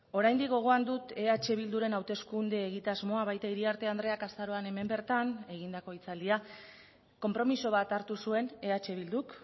oraindik gogoan dut eh bilduren hauteskunde egitasmoa baita iriarte andreak azaroan hemen bertan egindako hitzaldia konpromiso bat hartu zuen eh bilduk